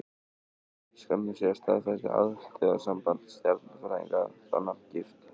Skömmu síðar staðfesti Alþjóðasamband stjarnfræðinga þá nafngift.